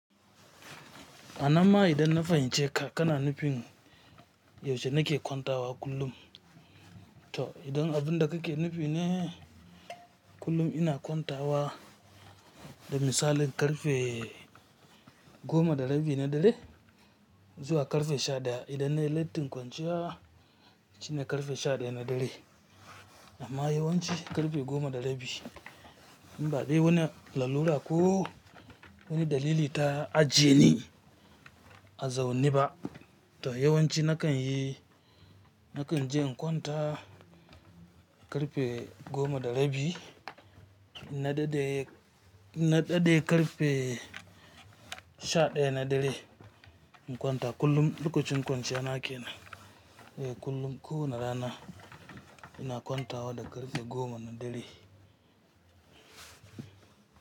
Amma idan na fahimce ka, ka na nufin yaushe na ke kwanta wa kullum. To idan abin da ka ke nufi ne, kullum ina kwanta wa, da misali ƙarfe, goma da rabi na dare zuwa ƙarfe sha ɗaya, idan na yi lattin kwanciya shine ƙarfe sha ɗaya na dare. Amma yawanci ƙarfe goma da rabi. Ba dai wani lalura ko wani dalili ta ajiye ni a zaune ba. To yawanci na kan yi, na kan je in kwanta ƙarfe goma da rabi na daɗe ƙarfe, sha ɗaya na dare. In kwanta kullum lokacin kwanciya na ke nan. Eh kullum ko wane rana ina kwanta wa da ƙarfe goma na dare.